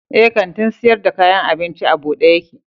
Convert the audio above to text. Eh, kantin sayar da kayan abincin a buɗe yake